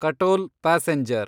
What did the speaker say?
Katol passenger